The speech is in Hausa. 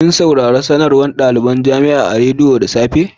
Kin saurare sanarwan da dalibain sanarwa jama'a sun sanar akan radiyo da safe'n nan?